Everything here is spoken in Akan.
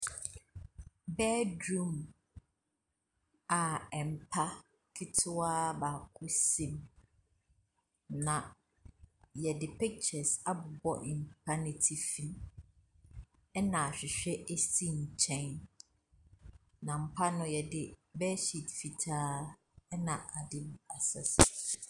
Bedroom a mpa ketewa baako si mu. Na yɛde pictures abobɔ mpa no atifi. Ɛna ahwehwɛ si nkyɛn. Na mpa no, yde bird sheet fitaa na asɛ so.